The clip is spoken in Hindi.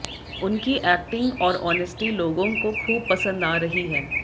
उनकी एक्टिंग और ओनेस्टी लोगों को खूब पंसद आ रही है